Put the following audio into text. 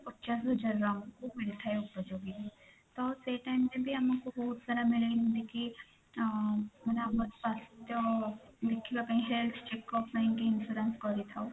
ପଚାଶ ହଜାର round କୁ ମିଳିଥାଏ ଉପଯୋଗି ତ ସେଇ time ରେ ବି ଆମକୁ ବହୁତ ସାରା ସୂଚନା ମିଳେନି କି ଆ ଆମର ସ୍ୱାସ୍ଥ୍ୟ ଦେଖିବା ପାଇଁ health check up ପାଇଁ କି insurance କରିଥାଉ।